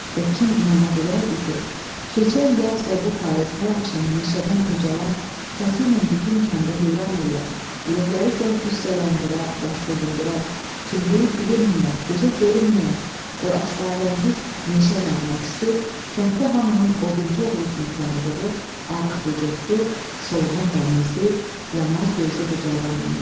Və kim inana bilərdi ki, keçən yaz və bu payız hər axşam meşədən ucalan səsiylə bütün kəndi heyran eləyən, ürəkləri gah qüssələndirən, gah sevindirən, kimliyi bilinməyən, gözə görünməyən o əsrarəngiz meşə nəğməçisi kənddə hamının odunçu oğlu kimi tanıdığı, arıq vücudlu, solğun bənizli, yanar gözlü bu cavan imiş.